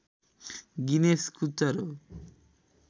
Guinness कुचर हो